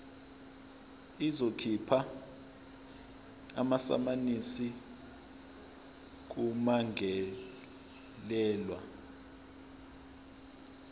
izokhipha amasamanisi kummangalelwa